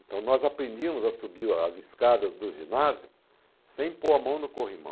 Então nós aprendíamos a subir as escadas do ginásio sem pôr a mão no corrimão.